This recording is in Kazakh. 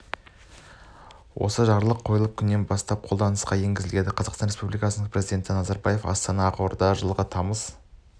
осы жарлық қол қойылған күнінен бастап қолданысқа енгізіледі қазақстан республикасының президенті назарбаев астана ақорда жылғы тамыз